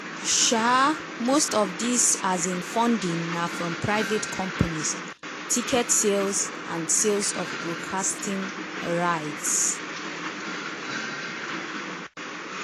um most of di um funding na from private companies ticket sales and sales of broadcasting rights.